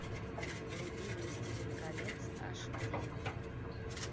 вруби властелин колец аш ди